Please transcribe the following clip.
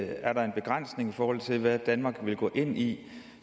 er der en begrænsning i forhold til hvad danmark vil gå ind i